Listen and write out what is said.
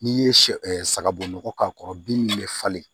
N'i ye sɛ ɛ sagaboɔgɔ k'a kɔrɔ bin bɛ falen